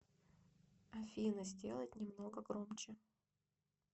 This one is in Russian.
афина сделать немного громче